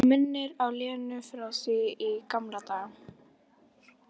Og minnir á Lenu frá því í gamla daga.